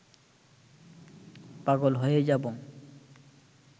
পাগল হয়ে যাব